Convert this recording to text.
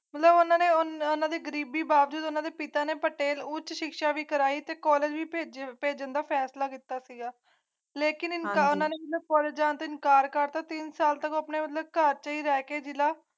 ਦੋਨਾਂ ਨੇ ਉਨ੍ਹਾਂ ਦੀ ਗਰੀਬੀ ਬਾਵਜੂਦ ਪਿਤਾ ਨੇ ਉੱਚ ਸਿੱਖਿਆ ਵਿੱਚ ਕੋਲ ਭੇਜਣ ਦਾ ਫੈਸਲਾ ਕੀਤਾ ਗਿਆ ਰੈਂਕ ਦੇ ਨਾਲ ਉਨ੍ਹਾਂ ਨੂੰ ਖੋਲ ਜਾਂ ਤਿੰਨ ਚਾਰ ਕਾਤਾਂ ਤੀਂ ਸਾਲ ਤੱਕ ਉਹ ਆਪਣੇ ਘਰ ਲੈ ਕੇ